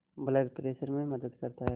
blood pressure में मदद करता है